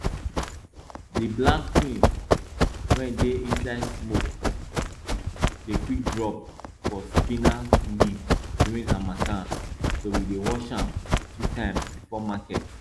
di black tin wey dey inside smoke dey quick drop for spinach leaf during harmattan so we dey wash am two times before market